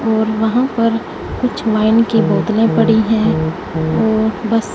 और वहां पर कुछ वाइन की बोतलें पड़ी हैं और बस।